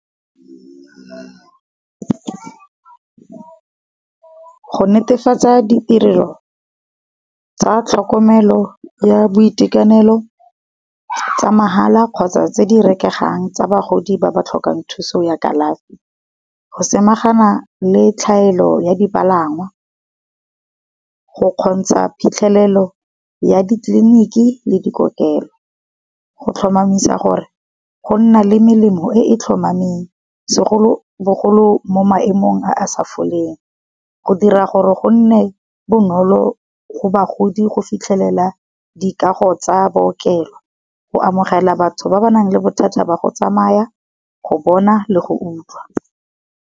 Go netefatsa di tirelo tsa tlhokomelo ya boitekanelo, tsa mahala kgotsa tse di rekegang tsa bagodi ba ba tlhokang thuso ya kalafi. Go samagana le tlhaelo ya dipalangwa, go kgontsha phitlhelelo ya ditleliniki le dikokelo, go tlhomamisa gore go nna le melemo e e tlhomameng. Segolobogolo mo maemong a a sa foleng, go dira gore go nne bonolo go bagodi go fitlhelela di kago tsa bookelo, go amogela batho ba ba nang le bothata ba go tsamaya, go bona le go utlwa.